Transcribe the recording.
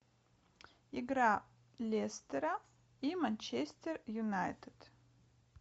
игра лестера и манчестер юнайтед